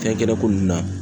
Fɛnkɛnɛko nunnu na.